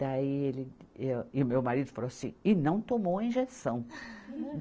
Daí ele, e, e o meu marido falou assim, e não tomou a injeção.